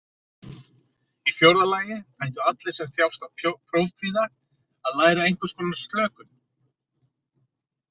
Í fjórða lagi ættu allir sem þjást af prófkvíða að læra einhvers konar slökun.